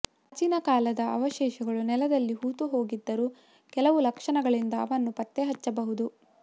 ಪ್ರಾಚೀನ ಕಾಲದ ಅವಶೇಷಗಳು ನೆಲದಲ್ಲಿ ಹೂತುಹೋಗಿದ್ದರೂ ಕೆಲವು ಲಕ್ಷಣಗಳಿಂದ ಅವನ್ನು ಪತ್ತೆ ಹಚ್ಚಬಹುದು